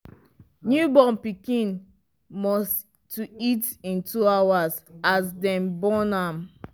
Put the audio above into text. new born pikin must to eat in 2hrs as dem born am